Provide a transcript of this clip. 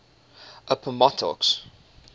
appomattox